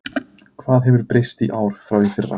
Hvað hefur breyst í ár frá í fyrra?